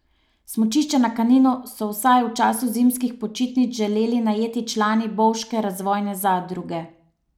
Smučišče na Kaninu so vsaj v času zimskih počitnic želeli najeti člani Bovške razvojne zadruge.